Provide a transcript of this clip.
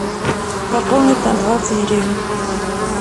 пополнить на двадцать гривен